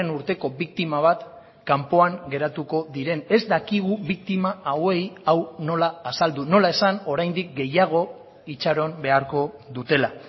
urteko biktima bat kanpoan geratuko diren ez dakigu biktima hauei hau nola azaldu nola esan oraindik gehiago itxaron beharko dutela